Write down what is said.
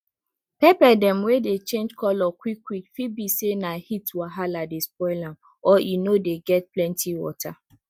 pepper dem wey dey change color quick quick fit be say na heat wahala dey spoil am or e no dey get plenty water